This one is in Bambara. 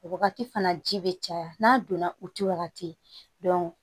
O wagati fana ji bɛ caya n'a donna u t'i wagati